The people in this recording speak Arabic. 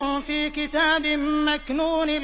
فِي كِتَابٍ مَّكْنُونٍ